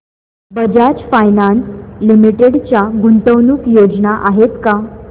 Bajaj finance limited च्या गुंतवणूक योजना आहेत का